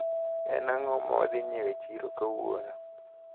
En ang`o mawadhi nyiewo e chiro kawuono?